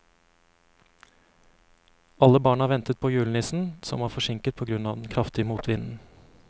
Alle barna ventet på julenissen, som var forsinket på grunn av den kraftige motvinden.